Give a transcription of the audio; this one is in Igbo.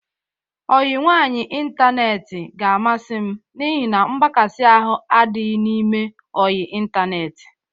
Ọyị nwaanyị ịntaneetị ga-amasị m n'ihi na mgbakasị ahụ adịghị n'ime ọyị ịntaneetị.